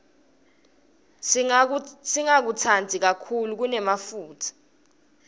singakutsandzi kakhulu lokunemafutsa